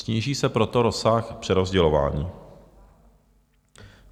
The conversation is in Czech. Sníží se proto rozsah přerozdělování.